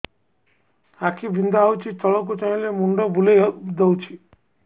ଆଖି ବିନ୍ଧା ହଉଚି ତଳକୁ ଚାହିଁଲେ ମୁଣ୍ଡ ବୁଲେଇ ଦଉଛି